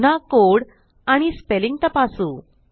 पुन्हा कोड आणि स्पेलिंग तपासू